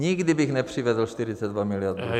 Nikdy bych nepřivedl 42 milionů...